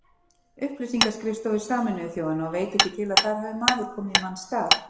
Upplýsingaskrifstofu Sameinuðu þjóðanna og veit ekki til að þar hafi maður komið í manns stað.